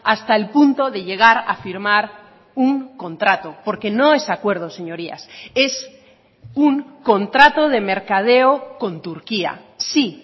hasta el punto de llegar a firmar un contrato porque no es acuerdo señorías es un contrato de mercadeo con turquía sí